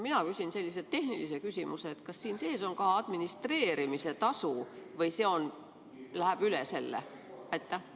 Mina küsin sellise tehnilise küsimuse: kas siin sees on ka administreerimise tasu või see läheb üle selle?